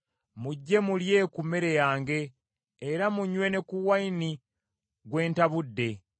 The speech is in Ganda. “Mujje mulye ku mmere yange era munywe ne ku nvinnyo gwe ntabudde.